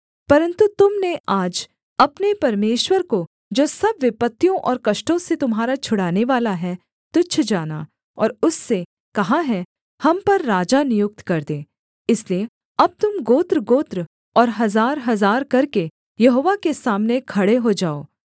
परन्तु तुम ने आज अपने परमेश्वर को जो सब विपत्तियों और कष्टों से तुम्हारा छुड़ानेवाला है तुच्छ जाना और उससे कहा है हम पर राजा नियुक्त कर दे इसलिए अब तुम गोत्रगोत्र और हजारहजार करके यहोवा के सामने खड़े हो जाओ